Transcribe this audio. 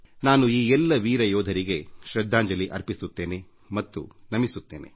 ನಾನು ಈ ಎಲ್ಲ ವೀರ ಯೋಧರಿಗೆ ಶೃದ್ಧಾಂಜಲಿ ಅರ್ಪಿಸುತ್ತೇನೆ ಮತ್ತು ತಲೆಬಾಗಿ ವಂದಿಸುತ್ತೇನೆ